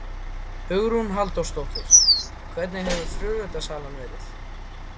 Hugrún Halldórsdóttir: Hvernig hefur flugeldasalan verið?